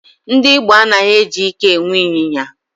Ndị Igbo anaghị eji ike e nwe ịnyịnya.